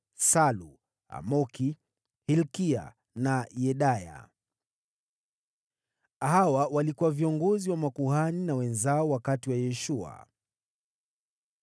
Salu, Amoki, Hilkia na Yedaya. Hawa walikuwa viongozi wa makuhani na wenzao wakati wa Yeshua.